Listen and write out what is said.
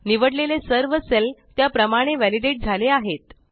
निवडलेले सर्व सेल त्या प्रमाणे वॅलिडेट झाले आहेत